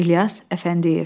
İlyas Əfəndiyev.